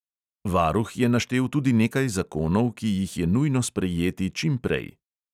Varuh je naštel tudi nekaj zakonov, ki jih je nujno sprejeti čim prej.